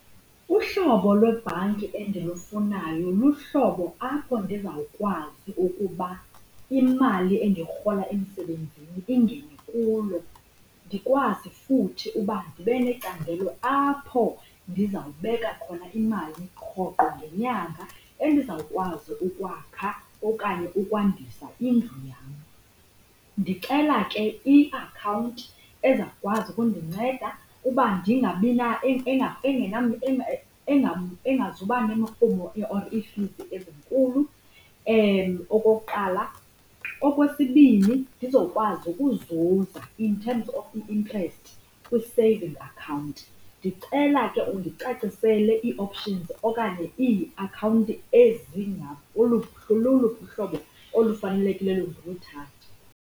Uhlobo lwebhanki endilufunayo luhlobo apho ndizawukwazi ukuba imali endiyirhola emsebenzini ingene kulo ndikwazi futhi ukuba ndibe necandelo apho ndiza kubeka khona imali rhoqho ngenyanga endizawukwazi ukwakha okanye ukwandisa indlu yam. Ndicela ke iakhawunti ezawukwazi ukundinceda ukuba ndingabina engazuba nemirhumo or iifizi ezinkulu, okokuqala. Okwesibini, ndizokwazi ukuzuza in terms of i-interest kwi-saving account. Ndicela ke undicacisele ii-options okanye iiakhawunti loluphi uhlobo olufanelekileyo ndiluthathe.